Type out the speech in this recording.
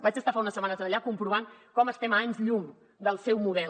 vaig estar fa unes setmanes allà comprovant com estem a anys llum del seu model